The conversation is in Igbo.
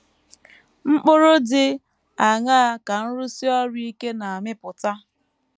Mkpụrụ dị aṅaa ka nrụsi ọrụ ike a na - amịpụta?